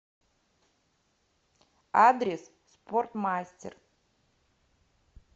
адрес спортмастер